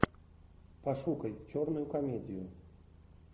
пошукай черную комедию